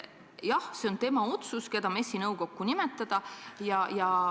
Jah, see on tema otsus, keda MES-i nõukokku nimetada.